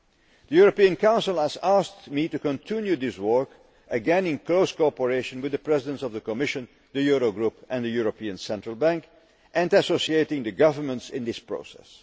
EMU. The European Council has asked me to continue this work, again in close cooperation with the Presidents of the Commission, the Euro Group and the European Central Bank, and associating the governments in this process.